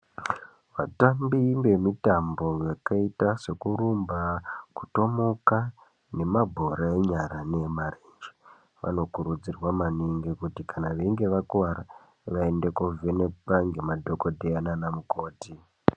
Vatambi vemitambo yakaita sekurumba kutomuka nemabhora enyara nemarenje vanokurudzirwa maningi kuti kana veinge vakuwara vaende kovhenekwa nemadhokodheya nana mukoti.